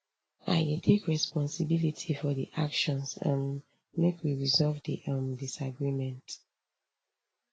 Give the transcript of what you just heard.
i dey take responsibility for di actions um make we resolve di um disagreement